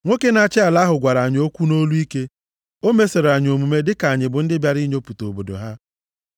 “Nwoke na-achị ala ahụ gwara anyị okwu nʼolu ike. O mesoro anyị mmeso dịka anyị bụ ndị bịara inyochapụta obodo ha.